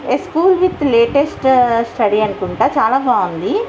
A school with latest study అనుకుంటా చాలా బాగుంది.